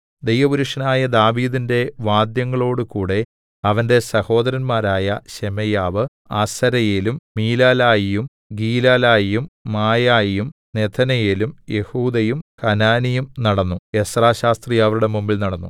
ദൈവപുരുഷനായ ദാവീദിന്റെ വാദ്യങ്ങളോടുകൂടെ അവന്റെ സഹോദരന്മാരായ ശെമയ്യാവ് അസരയേലും മീലലായിയും ഗീലലായിയും മായായിയും നെഥനയേലും യെഹൂദയും ഹനാനിയും നടന്നു എസ്രാ ശാസ്ത്രി അവരുടെ മുമ്പിൽ നടന്നു